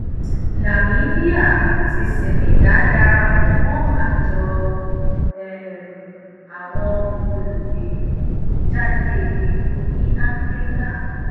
nàmíbíà àti senegal darapọ mọ àjọ um àwọn olùgbéejáde epo ní áfíríkà